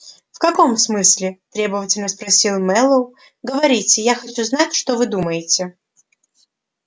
в каком смысле требовательно спросил мэллоу говорите я хочу знать что вы думаете